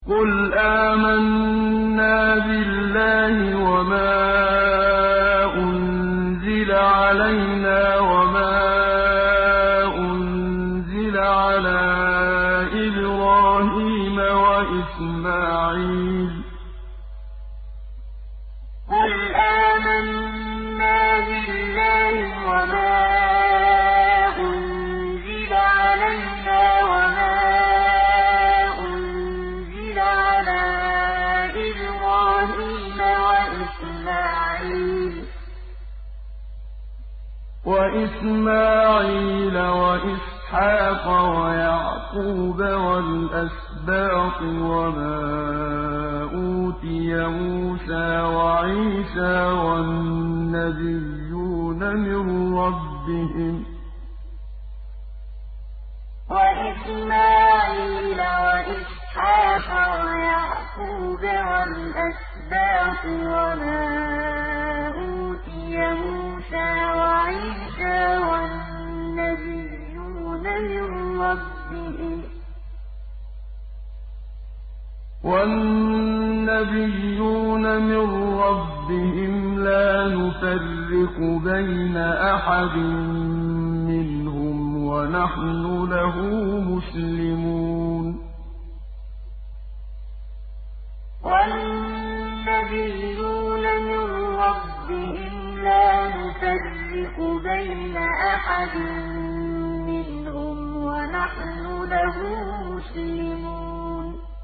قُلْ آمَنَّا بِاللَّهِ وَمَا أُنزِلَ عَلَيْنَا وَمَا أُنزِلَ عَلَىٰ إِبْرَاهِيمَ وَإِسْمَاعِيلَ وَإِسْحَاقَ وَيَعْقُوبَ وَالْأَسْبَاطِ وَمَا أُوتِيَ مُوسَىٰ وَعِيسَىٰ وَالنَّبِيُّونَ مِن رَّبِّهِمْ لَا نُفَرِّقُ بَيْنَ أَحَدٍ مِّنْهُمْ وَنَحْنُ لَهُ مُسْلِمُونَ قُلْ آمَنَّا بِاللَّهِ وَمَا أُنزِلَ عَلَيْنَا وَمَا أُنزِلَ عَلَىٰ إِبْرَاهِيمَ وَإِسْمَاعِيلَ وَإِسْحَاقَ وَيَعْقُوبَ وَالْأَسْبَاطِ وَمَا أُوتِيَ مُوسَىٰ وَعِيسَىٰ وَالنَّبِيُّونَ مِن رَّبِّهِمْ لَا نُفَرِّقُ بَيْنَ أَحَدٍ مِّنْهُمْ وَنَحْنُ لَهُ مُسْلِمُونَ